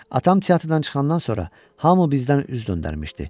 Atam teatrdan çıxandan sonra hamı bizdən üz döndərmişdi.